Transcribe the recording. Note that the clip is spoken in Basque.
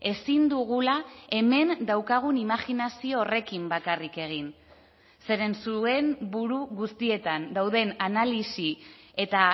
ezin dugula hemen daukagun imajinazio horrekin bakarrik egin zeren zuen buru guztietan dauden analisi eta